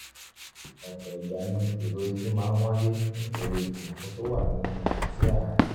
ọ̀pọ̀ ìgbà ni ìró etí máa ń wáyé nítorí àlàfo tó wà nínú etí àárín